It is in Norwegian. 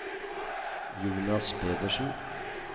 Jonas Pedersen